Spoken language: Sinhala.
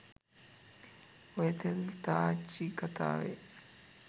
ඔය තෙල් තාච්චි කතාවෙ